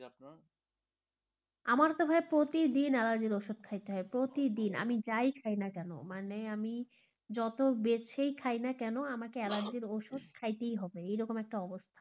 আমার ত ভাইয়া প্রতিদিন অ্যালার্জির ওষুধ খাইতে হয়, প্রতিদিন আমি যাই খাই না কেনো, মানে আমি যত বেছেই খাই না কেন আমাকে অ্যালার্জির ওষুধ খাইতেই হবে, এরকম একটা অবস্থা,